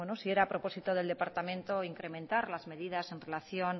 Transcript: si era propósito del departamento incrementar las medidas en relación